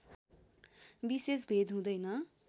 विशेष भेद हुँदैन